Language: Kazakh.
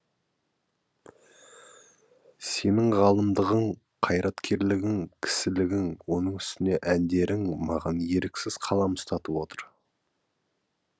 сенің ғалымдығың қайраткерлігің кісілігің оның үстіне әндерің маған еріксіз қалам ұстатып отыр